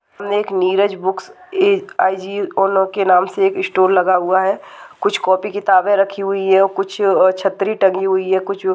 एक नीरज बुक्स एक के नाम से एक स्टोर लगा हुआ है कुछ कॉपी किताबें रखी हुई हैं कुछ और छतरी तंगी हुई हैं कुछ--